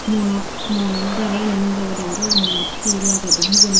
muonot muonot dari gani murebode parapang muonot he lagey duon hijeni.